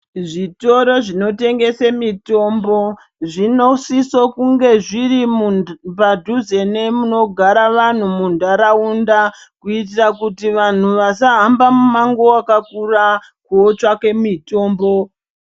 Zvitoro zvinotengeswa mitombo zvinosisa kunge zviri mundaraunda padhuze nemunogara antu mundaraunda kuitira antu asahamba mumango wakakura kutsvake mitombo.